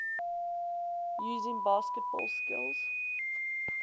using basketball skills